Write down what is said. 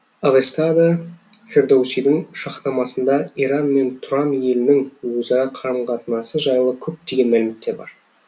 авестада фердоусидің шахнамасында иран мен тұран елінің өзара қарым қатынасы жайлы көптеген мәліметтер бар